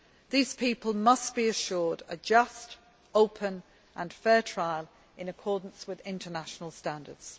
These people must be assured a just, open and fair trial in accordance with international standards.